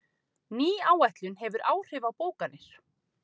Ný áætlun hefur áhrif á bókanir